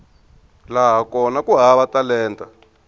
laha kona ku hava talenta